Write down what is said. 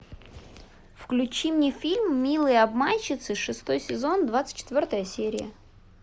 включи мне фильм милые обманщицы шестой сезон двадцать четвертая серия